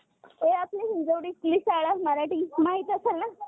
प्रमाणे आहेत. तिची मूलभूत जबाबदारी गुंतवणूकदारांच्या हिताचे रक्षण करणे होय. आणि बाजारात आवश्यक कायदा